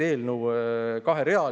Eelnõu on kaherealine.